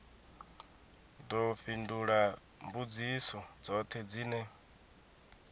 ḓo fhindula mbudziso dzoṱhe dzine